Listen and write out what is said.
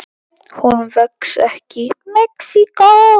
Hún vex ekki í Mexíkó.